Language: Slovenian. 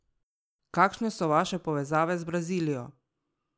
Kakšne so vaše povezave z Brazilijo?